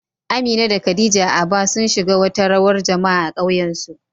Amina da Khadija a Aba, sun shiga wata rawar jama'a a ƙauyensu